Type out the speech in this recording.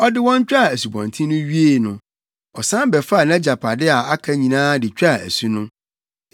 Ɔde wɔn twaa asubɔnten no wiee no, ɔsan bɛfaa nʼagyapade a aka nyinaa de twaa asu no.